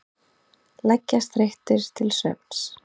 Leggjast þreyttir til svefns.